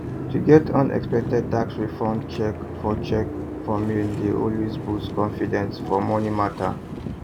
to get unexpected tax refund cheque for cheque for mail dey always boost confidence for money matter